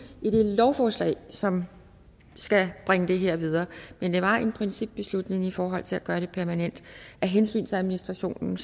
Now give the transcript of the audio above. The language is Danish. lovforslag som skal bringe det her videre men det var en principbeslutning i forhold til at gøre det permanent af hensyn til administrationen